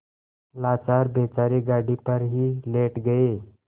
लाचार बेचारे गाड़ी पर ही लेट गये